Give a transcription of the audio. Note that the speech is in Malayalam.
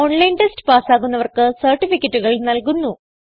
ഓൺലൈൻ ടെസ്റ്റ് പാസ്സാകുന്നവർക്ക് സർട്ടിഫികറ്റുകൾ നല്കുന്നു